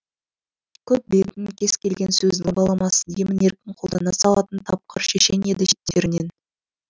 көп білетін кез келген сөздің баламасын емін еркін қолдана салатын тапқыр шешен еді шеттерінен